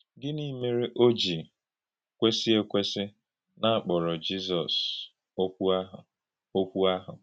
Gịnị mèrè ó jì kwèsì ékwèsì na a kpọ̀rọ̀ Jízọs “Ọ̀kwú ahụ”? “Ọ̀kwú ahụ”?